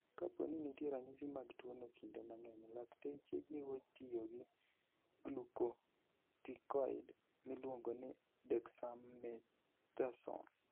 Kapo ni nitie ranyisi mag tuwono, kinde mang'eny lakteche jiwo tiyo gi glucocorticoid miluongo ni dexamethasone.